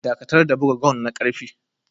Dakatar da buga gong na karfe.